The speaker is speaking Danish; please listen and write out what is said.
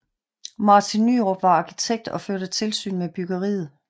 Martin Nyrop var arkitekt og førte tilsyn med byggeriet